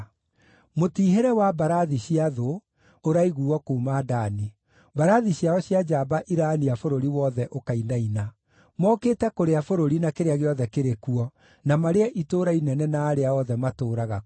Mũtiihĩre wa mbarathi cia thũ ũraiguuo kuuma Dani; mbarathi ciao cia njamba iraania bũrũri wothe ũkainaina. Mookĩte kũrĩa bũrũri na kĩrĩa gĩothe kĩrĩ kuo, na marĩe itũũra inene na arĩa othe matũũraga kuo.”